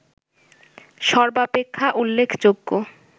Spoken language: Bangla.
সর্বাপেক্ষা উল্লেখযোগ্য